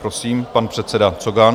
Prosím, pan předseda Cogan.